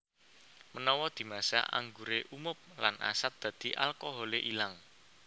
Menawa dimasak angguré umob lan asat dadi alkoholé ilang